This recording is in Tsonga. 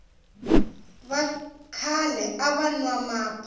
va kale va wa mapa